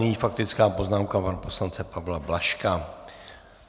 Nyní faktická poznámka pana poslance Pavla Blažka.